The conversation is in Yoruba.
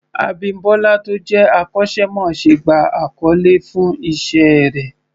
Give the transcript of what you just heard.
Abímbọ́lá tó jẹ́ akọ́ṣẹ́mọṣẹ́ gba àkọlé fún Iṣẹ́ rẹ̀